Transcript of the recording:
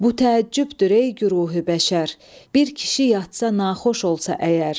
Bu təəccübdür ey güruhi bəşər, bir kişi yatsa naxoş olsa əgər.